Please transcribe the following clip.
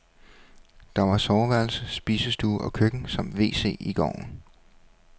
Der var soveværelse, spisestue og køkken samt wc i gården.